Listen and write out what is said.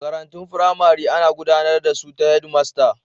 Makarantun firamare ana gudanar da su ta Head master